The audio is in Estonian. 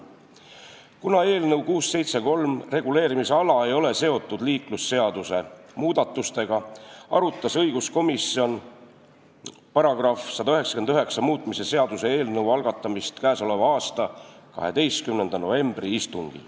Kuna eelnõu 673 reguleerimisala ei ole seotud liiklusseaduse muudatustega, arutas õiguskomisjon 12. novembri istungil liiklusseaduse § 199 muutmise seaduse eelnõu algatamist.